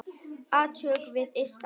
Átök við ysta haf.